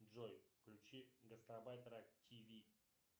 джой включи гастарбайтера тв